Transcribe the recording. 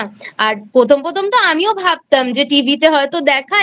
আর প্রথম প্রথমতো আমিও ভাবতাম যে TV তে হয়তো দেখায়